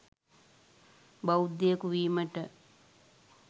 බෞද්ධයකු වීමට